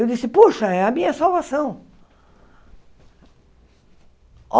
Eu disse, puxa, é a minha salvação.